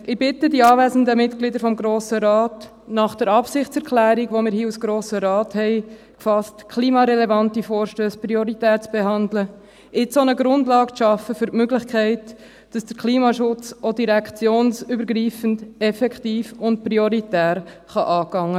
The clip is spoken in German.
Ich bitte die anwesenden Mitglieder des Grossen Rates nach der Absichtserklärung, die wir hier als Grosser Rat gefasst haben, klimarelevante Vorstösse prioritär zu behandeln , jetzt auch eine Grundlage zu schaffen für die Möglichkeit, den Klimaschutz auch direktionsübergreifend, effektiv und prioritär anzupacken.